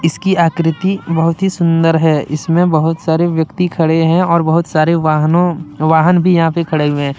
इसकी आकृति बहुत ही सुंदर है। इसमे बहुत सारे ब्यक्ति खड़े हैं और बहोत सारे वाहनो वाहन भी यहाँ पे खड़े हुए है।